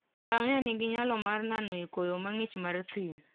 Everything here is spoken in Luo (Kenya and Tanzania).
Ngamia nigi nyalo mar nano e koyo mang'ich mar thim.